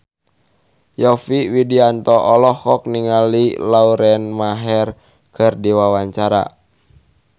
Yovie Widianto olohok ningali Lauren Maher keur diwawancara